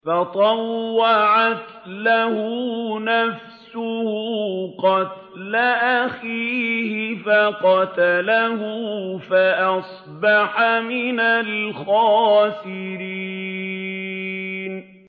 فَطَوَّعَتْ لَهُ نَفْسُهُ قَتْلَ أَخِيهِ فَقَتَلَهُ فَأَصْبَحَ مِنَ الْخَاسِرِينَ